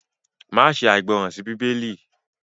ma ṣe aìgbọràn sí Bíbélì!